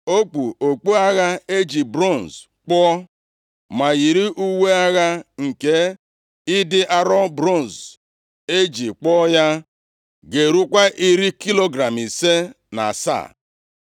O kpu okpu agha e ji bronz kpụọ, ma yiri uwe agha nke ịdị arọ bronz e ji kpụọ ya ga-erukwa iri kilogram ise na asaa.